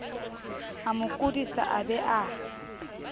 amo kodisa a be a